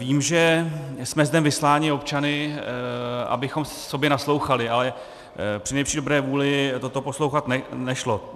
Vím, že jsme zde vysláni občany, abychom sobě naslouchali, ale při nejlepší dobré vůli toto poslouchat nešlo.